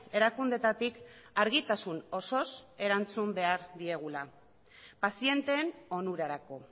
erakundeetatik argitasun osoz erantzun behar diegula pazienteen onurarako